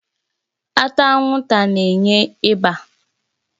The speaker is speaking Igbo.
Ata anwụnta na-enye ịba